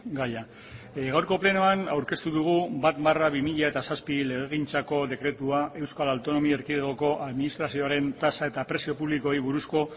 gaia gaurko plenoan aurkeztu dugu bat barra bi mila zazpi legegintzako dekretua euskal autonomia erkidegoko administrazioaren tasa eta prezio publikoei buruzko